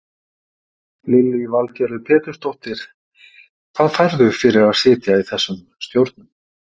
Lillý Valgerður Pétursdóttir: Hvað færðu fyrir að sitja í þessum stjórnum?